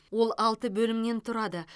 ол алты бөлімнен тұрады